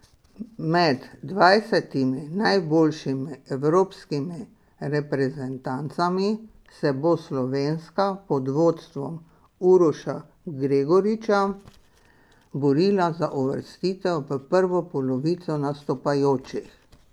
Med dvajsetimi najboljšimi evropskimi reprezentancami se bo slovenska pod vodstvom Uroša Gregoriča borila za uvrstitev v prvo polovico nastopajočih.